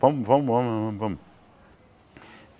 Vamos, vamos, vamos vamos vamos.